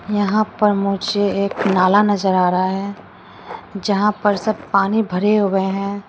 यहां पर मुझे एक नाला नजर आ रहा है जहां पर सब पानी भरे हुए है।